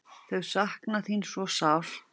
Þau sakna þín svo sárt.